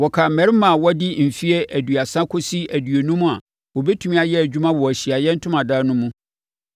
Wɔkan mmarima a wɔadi mfeɛ aduasa kɔsi aduonum a wɔbɛtumi ayɛ adwuma wɔ Ahyiaeɛ Ntomadan no mu.